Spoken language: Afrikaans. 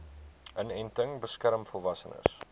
inenting beskerm volwassenes